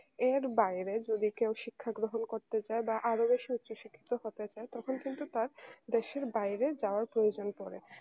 এর বাইরে যদি কেউ শিক্ষা গ্রহণ করতে চাই বা আরো বেশি উচ্চশিক্ষিত হতে চাই তখন কিন্তু তার দেশের বাইরে যাওয়ার প্রয়োজন পড়ে